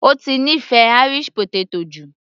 Ó ti nífẹ̀ẹ́ Irish potato jù